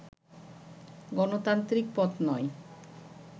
গণতান্ত্রিক পথ নয়